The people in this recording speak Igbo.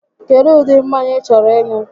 Kedụ ụdị mmanya ị chọrọ ịṅụ?